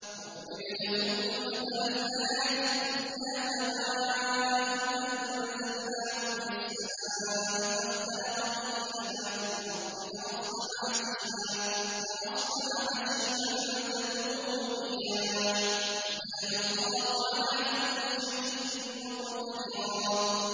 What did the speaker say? وَاضْرِبْ لَهُم مَّثَلَ الْحَيَاةِ الدُّنْيَا كَمَاءٍ أَنزَلْنَاهُ مِنَ السَّمَاءِ فَاخْتَلَطَ بِهِ نَبَاتُ الْأَرْضِ فَأَصْبَحَ هَشِيمًا تَذْرُوهُ الرِّيَاحُ ۗ وَكَانَ اللَّهُ عَلَىٰ كُلِّ شَيْءٍ مُّقْتَدِرًا